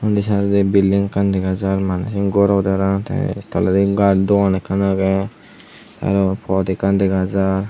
undi saidodi bilding ekkan dega jar maney siyen gor obodey parapang te toledi gar duon ekkan agey te aro pod ekkan dega jaar.